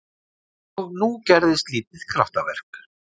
Og nú gerðist lítið kraftaverk.